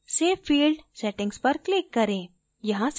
फिर save field settings पर click करें